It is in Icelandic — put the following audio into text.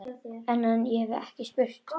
En- ég hef ekki spurt.